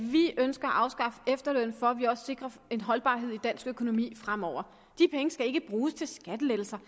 at vi ønsker at afskaffe efterlønnen for at vi også sikrer en holdbarhed i dansk økonomi fremover de penge skal ikke bruges til skattelettelser